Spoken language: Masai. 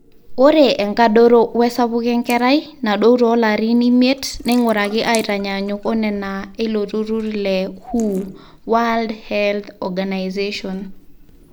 ore enkadoro wesapuko enkerai nadou toolarin imiet neing'uraki aaitanyanyuk onena eilo turrur le WHO